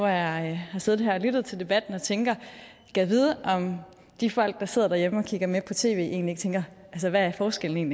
jeg har siddet og lyttet til debatten tænker jeg gad vide om de folk der sidder derhjemme og kigger med på tv egentlig tænker hvad forskellen